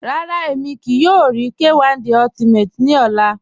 Rárá, ẹ̀mi kíí yòò rí K1 De Ultimate ni ọ̀là